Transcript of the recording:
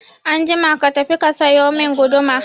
Anjima ka tafi ka sayo mun guduma